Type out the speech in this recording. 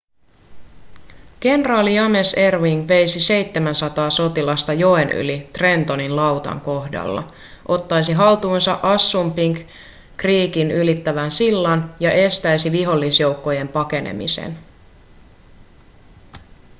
kenraali james erwing veisi 700 sotilasta joen yli trentonin lautan kohdalla ottaisi haltuunsa assunpink creekin ylittävän sillan ja estäisi vihollisjoukkojen pakenemisen